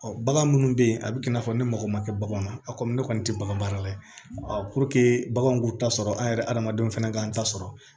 bagan minnu bɛ yen a bɛ kɛ i n'a fɔ ne mago ma kɛ baganw na a komi ne kɔni tɛ bagan baara la baganw k'u ta sɔrɔ an yɛrɛ adamadenw fana k'an ta sɔrɔ